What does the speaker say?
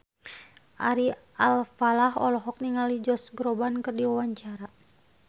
Ari Alfalah olohok ningali Josh Groban keur diwawancara